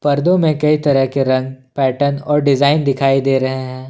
कर दो मैं कई तरह के रंग पैटर्न और डिजाइन दिखाई दे रहे हैं।